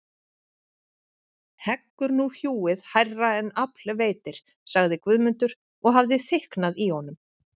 Heggur nú hjúið hærra en afl veitir, sagði Guðmundur og hafði þykknað í honum.